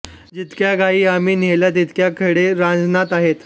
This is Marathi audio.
जितक्या गायी आम्ही नेल्या तितके खडे रांजणात आहेत